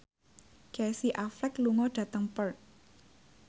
Casey Affleck lunga dhateng Perth